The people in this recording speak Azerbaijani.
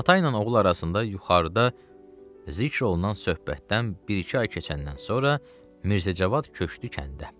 Ata ilə oğul arasında yuxarıda zikr olunan söhbətdən bir-iki ay keçəndən sonra Mirzə Cavad köçdü kəndə.